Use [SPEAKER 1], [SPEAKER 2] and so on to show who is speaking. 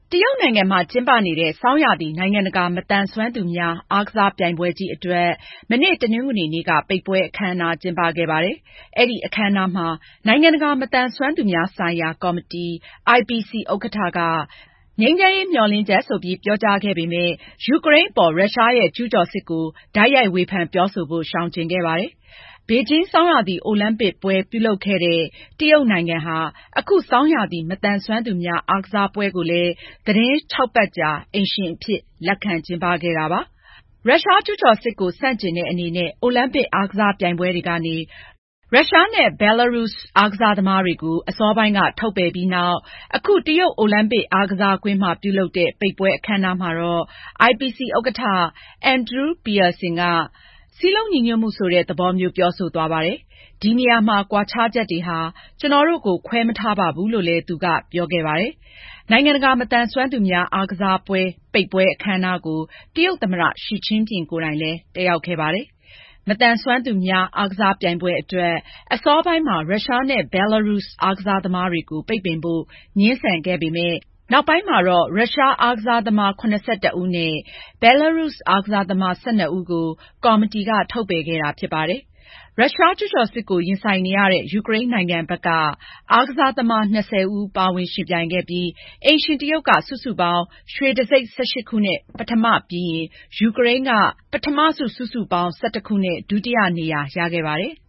[SPEAKER 1] တရုတ်နိုင်ငံမှာ ကျင်းပနေတဲ့ ဆောင်းရာသီ နိုင်ငံတကာ မသန်စွမ်းသူများ အားကစားပြိုင်ပွဲကြီးအတွက် မနေ့ တနင်္ဂနွေနေ့က ပိတ်ပွဲအခမ်းအနား ကျင်းပခဲ့ပါတယ်။ အဲဒီအခမ်းအနားမှာ နိုင်ငံတကာ မသန်စွမ်းသူများဆိုင်ရာ ကော်မတီ (IPC) ဥက္ကဋ္ဌက ငြိမ်းချမ်းရေးမျှော်လင့်ချက်ဆိုပြီး ပြောကြားခဲ့ပေမယ့် ယူကရိန်းအပေါ် ရုရှားရဲ့ ကျူးကျော်စစ်ကို တိုက်ရိုက်ဝေဖန်ပြောဆိုဖို့ ရှောင်ကြည်ခဲ့ပါတယ်။ ဘေဂျင်း ဆောင်းရာသီ အိုလံပစ်ပွဲ ပြုလုပ်ခဲ့တဲ့ တရုတ်နိုင်ငံဟာ ဆောင်းရာသီ မသန်စွမ်းသူများ အားကစားပွဲတော်ကို သီတင်းခြောက်ပတ်ကြာ အိမ်ရှင်အဖြစ် လက်ခံကျင်းပခဲ့ပါတယ်။ ရုရှားကျူးကျော်စစ်ကို ဆန့်ကျင်တဲ့အနေနဲ့ အိုလံပစ် အားကစားပြိုင်ပွဲတွေကနေ ရုရှားနဲ့ ဘဲလာရုစ် အားကစားသမားတွေကို အစောပိုင်းက ထုတ်ပယ်ပြီးနောက် အခု တရုတ် အိုလံပစ် အားကစားကွင်းမှာ ပြုလုပ်တဲ့ ပိတ်ပွဲအခမ်းအနားမှာတော့ IPC ဥက္ကဋ္ဌ Andrew Parsons က စည်းလုံးညီညွတ်မှု ဆိုတဲ့ သဘောမျိုး ပြောဆိုသွားပါတယ်။ “ဒီနေရာမှာ ကွာခြားချက်တွေဟာ ကျနော်တို့ကို ခွဲမထားပါဘူး” လို့ သူက ပြောကြားခဲ့ပါတယ်။ နိုင်ငံတကာ မသန်စွမ်းသူများ အားကစားပွဲတော် ပိတ်ပွဲအခမ်းအနားကို တရုတ်သမ္မတ Xi Jinping လည်း တက်ရောက်ခဲ့ပါတယ်။ မသန်စွမ်းသူများ အားကစားပြိုင်ပွဲအတွက် အစောပိုင်းမှာ ရုရှားနဲ့ ဘဲလာရုစ် အားကစားသမားတွေကို ပိတ်ပင်ဖို့ ငြင်းဆန်ခဲ့ပေမယ့် နောက်ပိုင်းမှာတော့ ရုရှားအားကစားသမား ၇၁ ဦးနဲ့ ဘဲလာရုစ် အားကစားသမား ၁၂ ဦးကို ကော်မတီက ထုတ်ပယ်ခဲ့တာ ဖြစ်ပါတယ်။ ရုရှားကျူးကျော်စစ်ကို ရင်ဆိုင်နေရတဲ့ ယူကရိန်းနိုင်ငံဘက်က အားကစားသမား ၂၀ ဦးသာ ပါဝင်ယှဉ်ပြိုင်ခဲ့ပေမယ့် အိမ်ရှင် တရုတ်နိုင်ငံက စုစုပေါင်း ရွှေတံဆိပ် ၁၈ ခုနဲ့ ပထမပြီးရင် ယူကရိန်းက ပထမဆု စုစုပေါင်း ၁၁ ခုနဲ့ ဒုတိယနေရာ ရခဲ့ပါတယ်။